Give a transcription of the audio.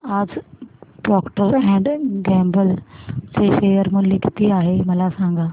आज Procter and Gamble चे share मूल्य किती आहे मला सांगा